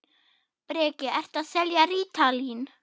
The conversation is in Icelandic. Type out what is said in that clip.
Breki: Ertu að selja rítalín?